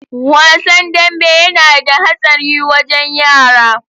Wasan danbe yana da hatsari wajen yara.